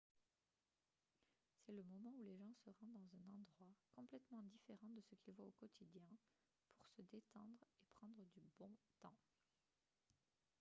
c'est le moment où les gens se rendent dans un endroit complètement différent de ce qu'il voit au quotidien pour se détendre et prendre du bon temps